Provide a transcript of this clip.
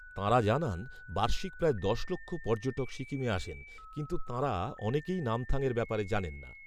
তাঁরা জানান, বার্ষিক প্রায় দশ লক্ষ পর্যটক সিকিমে আসেন, কিন্তু তাঁরা অনেকেই নামথাংয়ের ব্যাপারে জানেন না